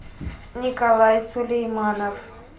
николай сулейманов